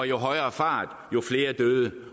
jo højere fart jo flere døde